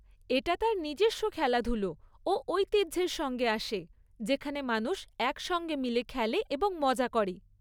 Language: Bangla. এটা তার নিজস্ব খেলাধুলো ও ঐতিহ্যের সঙ্গে আসে যেখানে মানুষ একসঙ্গে মিলে খেলে এবং মজা করে।